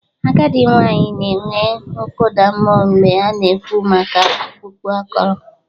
Agadị nwanyị na-enwe nkụda mmụọ mgbe a na-ekwu maka ọkpụkpụ akọrọ.